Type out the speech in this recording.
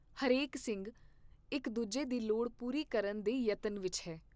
ਹਰੇਕ ਸਿੰਘ ਇਕ ਦੂਜੇ ਦੀ ਲੋੜ ਪੂਰੀ ਕਰਨ ਦੇ ਯਤਨ ਵਿਚ ਹੈ।